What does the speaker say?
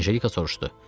Anjelika soruşdu.